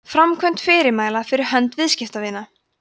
framkvæmd fyrirmæla fyrir hönd viðskiptavina